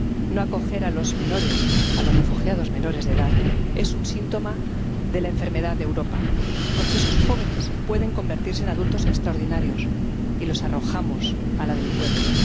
No acoger a los menores, a los refugiados menores de edad, es un síntoma de la enfermedad de Europa, porque esos jóvenes pueden convertirse en adultos extraordinarios y los arrojamos a la delincuencia.